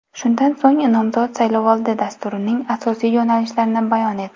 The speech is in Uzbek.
Shundan so‘ng nomzod saylovoldi dasturining asosiy yo‘nalishlarini bayon etdi.